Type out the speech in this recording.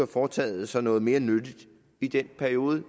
foretaget sig noget mere nyttigt i den periode